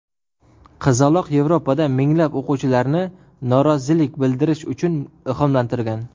Qizaloq Yevropada minglab o‘quvchilarni norozilik bildirish uchun ilhomlantirgan.